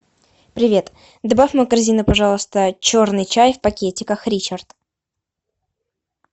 привет добавь в мою корзину пожалуйста черный чай в пакетиках ричард